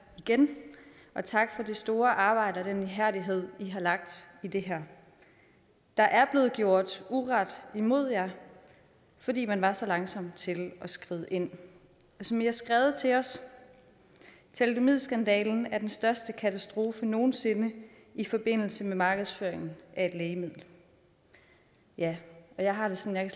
igen og tak for det store arbejde og den ihærdighed i har lagt i det her der er blevet gjort uret imod jer fordi man var så langsom til at skride ind og som i har skrevet til os thalidomidskandalen er den største katastrofe nogen sinde i forbindelse med markedsføring af et lægemiddel ja jeg har det sådan